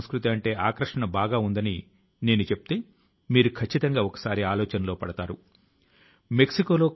ఈ స్వచ్ఛత తాలూకు ఈ సంకల్పం క్రమశిక్షణ జాగరూకత అంకితభావం లతో మాత్రమే నెరవేరుతుంది